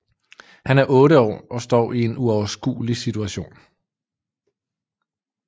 Han er 8 år og står i en uoverskuelig situation